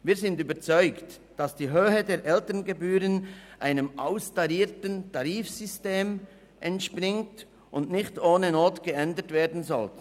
Wir sind überzeugt, dass die Höhe der Elterngebühren einem austarierten Tarifsystem entspricht und nicht ohne Not geändert werden soll.